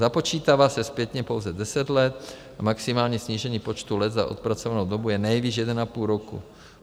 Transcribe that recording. Započítává se zpětně pouze 10 let, maximální snížení počtu let za odpracovanou dobu je nejvýš 1,5 roku.